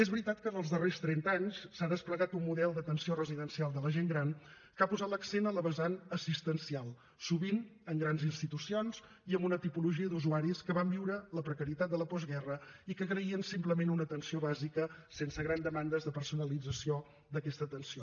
és veritat que els darrers trenta anys s’ha desplegat un model d’atenció residencial de la gent gran que ha posat l’accent en la vessant assistencial sovint en grans institucions i en una tipologia d’usuaris que van viure la precarietat de la postguerra i que agraïen simplement una atenció bàsica sense grans demandes de personalització d’aquesta atenció